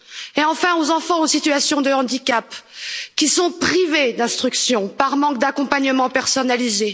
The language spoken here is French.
et, enfin, aux enfants en situation de handicap, qui sont privés d'instruction par manque d'accompagnement personnalisé.